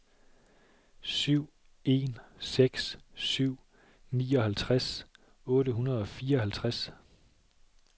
syv en seks syv nioghalvtreds otte hundrede og fireoghalvtreds